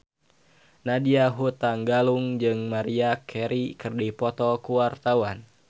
Nadya Hutagalung jeung Maria Carey keur dipoto ku wartawan